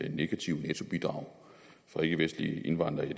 her negative nettobidrag fra ikkevestlige indvandrere